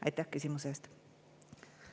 Aitäh küsimuse eest!